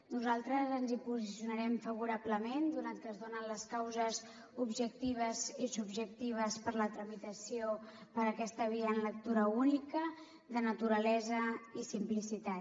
nosaltres ens hi posicionarem favorablement donat que es donen les causes objectives i subjectives per a la tramitació per aquesta via en lectura única de naturalesa i simplicitat